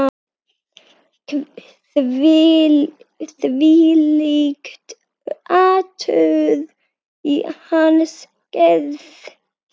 Þvílíkt hatur í hans garð